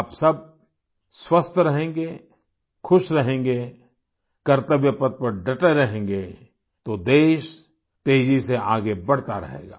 आप सब स्वस्थ रहेंगे खुश रहेंगे कर्त्तव्य पथ पर डटे रहेंगे तो देश तेजी से आगे बढ़ता रहेगा